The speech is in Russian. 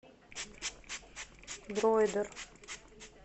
дроидер